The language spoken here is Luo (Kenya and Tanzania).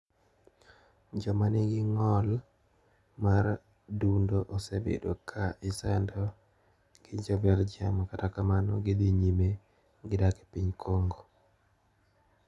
Jomanigi ng`ol mar dundo osebedo ka isando gi jo Belgium kata kamano gidhi nyime gidak e piny Congo.